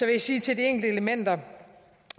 jeg sige til de enkelte elementer